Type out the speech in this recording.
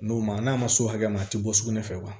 N'o ma n'a ma s'o hakɛ ma a tɛ bɔ sugunɛ fɛ